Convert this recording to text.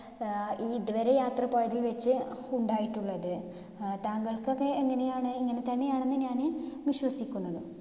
അഹ് ഇതുവരെ യാത്ര പോയതില്‍ വെച്ചു ഉണ്ടായിട്ടുള്ളത്. അഹ് താങ്കൾക്കൊക്കെ എങ്ങിനെയാണ്? ഇങ്ങിനെത്തന്നെയാണെന്ന് ഞാന് വിശ്വസിക്കുന്നു.